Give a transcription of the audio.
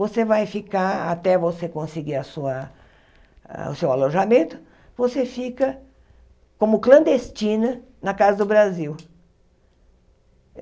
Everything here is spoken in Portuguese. Você vai ficar, até você conseguir a sua o seu alojamento, você fica como clandestina na Casa do Brasil.